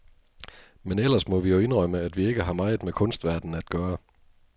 Men ellers må vi jo indrømme, at vi ikke har meget med kunstverdenen at gøre.